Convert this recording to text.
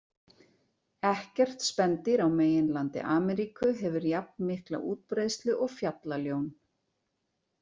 Ekkert spendýr á meginlandi Ameríku hefur jafn mikla útbreiðslu og fjallaljón.